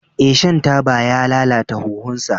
Ee, shan taba ya lalata huhunsa.